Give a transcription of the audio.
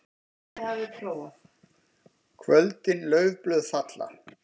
KVÖLDIN LAUFBLÖÐ FALLA.